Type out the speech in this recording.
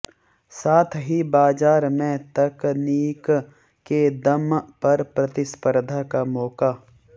साथ ही बाजार में तकनीक के दम पर प्रतिस्पर्धा का मौका